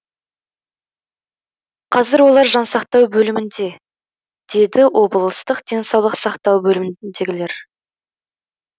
қазір олар жансақтау бөлімінде деді облыстық денсаулық сақтау бөліміндегілер